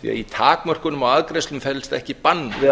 því að í takmörkunum á arðgreiðslum felst ekki bann við